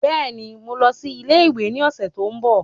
Bẹ́ẹ̀ni, mò ń lọ sí ilé ìwé ní ọ̀sẹ̀ tí ó ń bọ̀